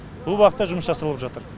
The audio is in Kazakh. бұл бағытта жұмыс жасалып жатыр